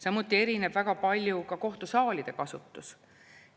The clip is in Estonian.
Samuti erineb väga palju ka kohtusaalide kasutus.